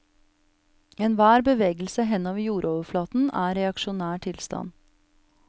Enhver bevegelse henover jordoverflaten er reaksjonær tilstand.